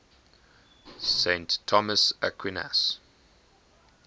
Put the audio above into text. saint thomas aquinas